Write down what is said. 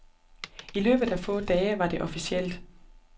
I løbet af få dage var det officielt.